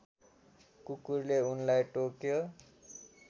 कुकुरले उनलाई टोक्यो